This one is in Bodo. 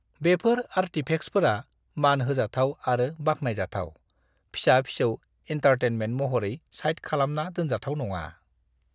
बेफोर आर्टिफेक्सफोरा मान होजाथाव आरो बाख्नायजाथाव, फिसा-फिसौ एन्टारटेनमेन्ट महरै साइड खालामना दोनजाथाव नङा।